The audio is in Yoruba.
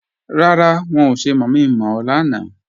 Rárá, wọn ò ṣe mọ̀mi-mọ̀ ọ lánàá